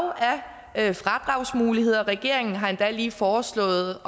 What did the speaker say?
af fradragsmuligheder regeringen har endda lige foreslået